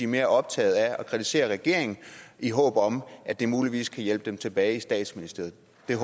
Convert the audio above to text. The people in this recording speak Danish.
mere optaget af at kritisere regeringen i håb om at det muligvis kan hjælpe dem tilbage i statsministeriet